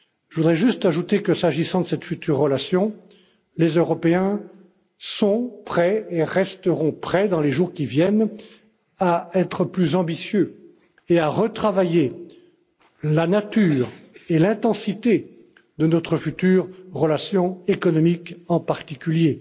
Je voudrais juste ajouter que s'agissant de cette future relation, les Européens sont prêts et resteront prêts dans les jours qui viennent à être plus ambitieux et à retravailler la nature et l'intensité de notre future relation, économique en particulier.